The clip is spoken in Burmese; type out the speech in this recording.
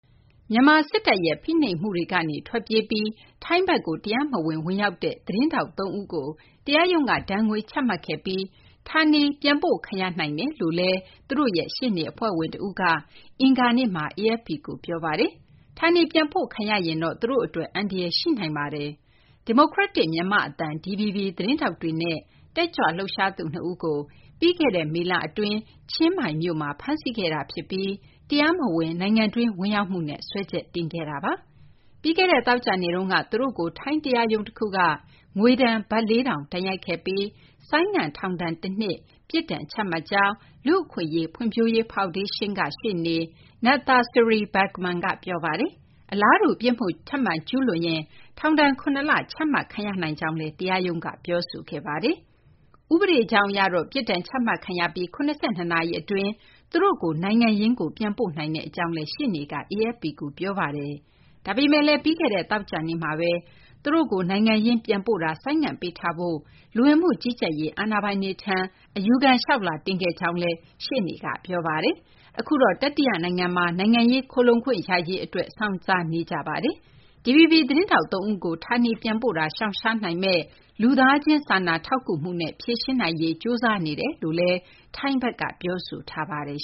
မြန်မာ စစ်တပ်ရဲ့ ဖိနှိပ်မှုတွေကနေ ထွက်ပြေးပြီး ထိုင်းဘက်ကို တရားမဝင် ဝင်ရောက်ခဲ့တဲ့ သတင်းထောက် ၃ ဦးကို တရားရုံးက ဒဏ်ငွေ ချမှတ်ခဲ့ပြီး ဌာနေပြန်ပို့ခံရနိုင်တယ်လို့ သူတို့ရဲ့ ရှေ့နေ အဖွဲ့ဝင် တဦးက အင်္ဂါနေ့မှာ AFP ကို ပြောပါတယ်။ ဌာနေပြန်ပို့ခံရရင်တော့ သူတို့ အတွက် အန္တရာယ် ရှိနိုင်တာပါ။ ဒီမိုကရက်တစ် မြန်မာ့အသံ DVB သတင်းထောက်တွေနဲ့ တက်ကြွလှုပ်ရှားသူ ၂ ဦးကို ပြီးခဲ့တဲ့ မေလ အတွင်း ချင်းမိုင်မြို့မှာ ဖမ်းဆီးခဲ့တာ ဖြစ်ပြီး တရားမဝင် နိုင်ငံတွင်း ဝင်ရောက်မှုနဲ့ စွဲချက်တင်ခံခဲ့ရတာပါ။ ပြီးခဲ့တဲ့ သောကြာနေ့က သူတို့ကို ထိုင်းတရားရုံးက ငွေဒဏ် ဘတ် ၄,၀၀၀ ဒဏ်ရိုက်ခဲ့ပြီး ဆိုင်းငံ့ ထောင်ဒဏ် တနှစ် ပြစ်ဒဏ် ချမှတ်မှတ်ခဲ့ကြောင်း လူ့အခွင့်အရေး ဖွံ့ဖြိုးရေး ဖောင်ဒေးရှင်းက ရှေ့နေ Nadthasiri Bergman က ပြောပါတယ်။ အလားတူ ပြစ်မှု ထပ်မံကျူးလွန်ရင် ထောင်ဒဏ် ၇ လ ချမှတ်ခံရနိုင်ကြောင်းလည်း တရားရုံးက ပြောဆိုခဲ့ပါတယ်။ ဥပဒေကြောင်း အရတော့ ပြစ်ဒဏ်ချမှတ်ပြီး ၇၂ နာရီ အတွင်းမှာ သူတို့ကို နိုင်ငံရင်းကို ပြန်ပို့နိုင်ကြောင်းလည်း ရှေ့နေ Bergman က AFP ကို ပြောပါတယ်။ ဒါပေမယ့်လည်း ပြီးခဲ့တဲ့ သောကြာနေ့မှာဘဲ သူတို့ကို နိုင်ငံရင်းကို ပြန်ပို့တာ ဆိုင်းငံ့ပေးထားဖို့ လူဝင်မှု ကြီးကြပ်ရေး အာဏာပိုင်တွေထံ အယူခံ လျှောက်လွှာတင်ခဲ့ပြီး ဖြစ်ကြောင်းလည်း ရှေ့နေက ပြောပါတယ်။ အခုတော့ တတိယ နိုင်ငံမှာ နိုင်ငံရေး ခိုလှုံခွင့်ရရေး အတွက် စောင့်ဆိုင်းနေကြကြောင်းလည်း သူက ပြောပါတယ်။ DVB သတင်းထောက် သုံးဦးကို ဌာနေပြန်ပို့ရေး ရှောင်ရှားနိုင်မယ့် လူသားချင်း စာနာထောက်ကူမှုနဲ့ ဖြေရှင်းနိုင်ရေး ကြိုးစားနေကြောင်း ထိုင်းဘက်ကလည်း ပြောဆိုထားပါတယ်